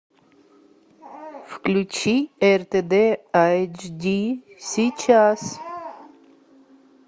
включи ртд айчди сейчас